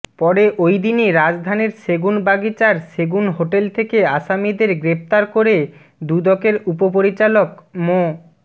পরে ওইদিনই রাজধানীর সেগুন বাগিচার সেগুন হোটেল থেকে আসামিদের গ্রেফতার করে দুদকের উপপরিচালক মো